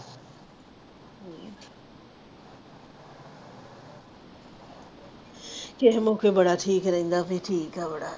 ਕਿਸੇ ਮੌਕੇ ਬੜਾ ਠੀਕ ਰਹਿੰਦਾ ਫਿਰ ਠੀਕ ਆ ਬੜਾ।